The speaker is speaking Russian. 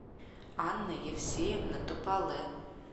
анна евсеевна топале